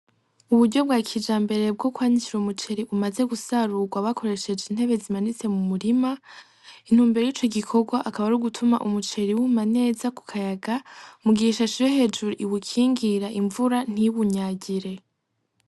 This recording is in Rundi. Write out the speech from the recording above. Uburyo bwakijambere bwokwanikira umuceri umaze gusarugwa bakoresheje intebe zimanitse mu murima; Intumbero yico gikogwa akaba arugutuma umuceri wuma neza kukayaga mugihe ishashe yohejuru iwukingira imvura ntiwunyagire.